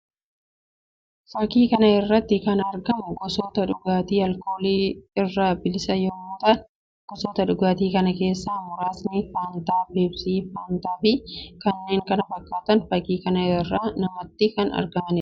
Fakkii kana irratti kan argamu gosoota dhugaatii alkoolii irraa bilisa yammuu ta'an; gosoota dhugaatii kana keessaa muraasni faantaa, peepsii ,faantaa fi kanneen kana fakkaatantu fakkii kana irraa namatti kan argamuu dha.